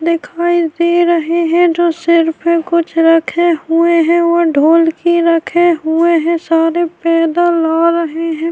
دکھائی دے رہے ہے۔ جو سر مے کچھ رکھے ہوئے ہے اور ڈھولکی رکھے ہوئے ہے۔ سارے پیدل آ رہے ہے۔